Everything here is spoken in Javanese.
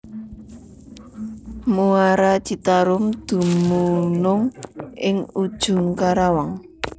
Muara Citarum dumunung ing Ujung Karawang